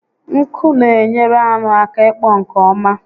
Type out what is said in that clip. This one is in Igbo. Nku n'enyere anụ aka ịkpọ nke ọma